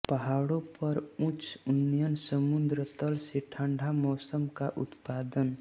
पहाड़ों पर उच्च उन्नयन समुद्र तल से ठंडा मौसम का उत्पादन